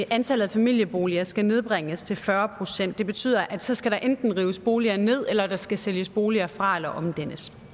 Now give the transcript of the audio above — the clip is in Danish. antallet af familieboliger skal nedbringes til fyrre procent det betyder at så skal der enten rives boliger ned eller der skal sælges boliger fra eller omdannes